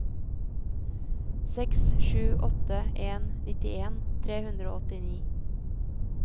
seks sju åtte en nittien tre hundre og åttini